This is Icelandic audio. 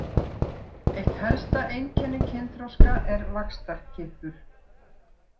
Eitt helsta einkenni kynþroska er vaxtarkippur.